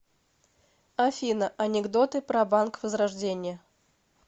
афина анекдоты про банк возрождение